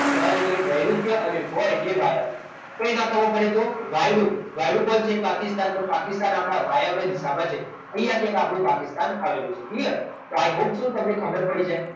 ના એટલે નૈઋત્ય અને વ એટલે વાયવ્ય કંઈ ના ખબર પડે તો વાયડુ પણ વાયડુ કોણ છે તો પાકિસ્તાન તો પાકિસ્તાન આપણા વાયવ્ય દિશામાં છે અહીંયા થી આ પાકિસ્તાન આવેલું છે clear તો i hope so તમને ખબર પડી જાય